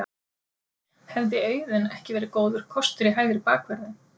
Hefði Auðun ekki verið góður kostur í hægri bakvörðinn?